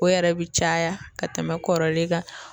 O yɛrɛ bi caya ka tɛmɛ kɔrɔlen kan